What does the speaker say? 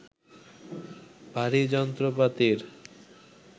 ভারী যন্ত্রপাতির